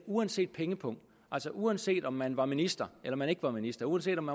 uanset pengepung altså uanset om man var minister eller man ikke var minister uanset om